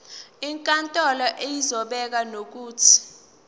inkantolo izobeka nokuthi